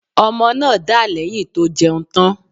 Ọmọ náà dà lẹ̀yìn tó jẹun tán.